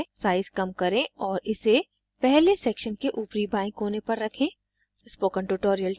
size कम करें और इसे पहले section के ऊपरी बाएं कोने पर रखें